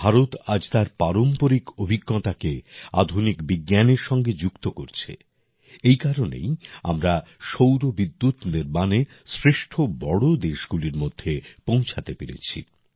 ভারত আজ তার পারম্পরিক অভিজ্ঞতাকে আধুনিক বিজ্ঞানের সাথে যুক্ত করছে এই কারণেই আজ আমরা সৌর বিদ্যুৎ নির্মাণে শ্রেষ্ঠ বড় দেশগুলির মধ্যে পৌঁছাতে পেরেছি